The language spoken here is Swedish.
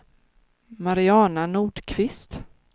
Mariana Nordqvist